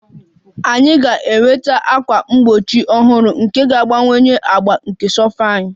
Anyị ga-enweta ákwà mgbochi ọhụrụ nke ga-agbakwunye agba nke sofa anyị